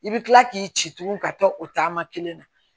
I bɛ kila k'i ci tugun ka taa o taama kelen na